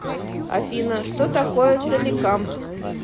афина что такое соликамск